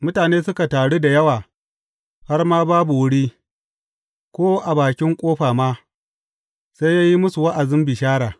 Mutane suka taru da yawa har ma babu wuri, ko a bakin ƙofa ma, sai ya yi musu wa’azin bishara.